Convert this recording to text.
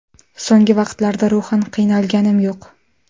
So‘nggi vaqtlarda ruhan qiynalganim yo‘q.